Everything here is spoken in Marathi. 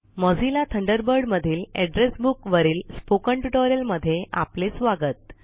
मोझिल्ला थंडरबर्ड मधील एड्रेस बुक स्पोकन ट्यूटोरियल मध्ये आपले स्वागत